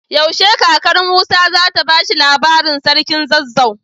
Yaushe kakar musa zata bashi labarin sarkin zazzau?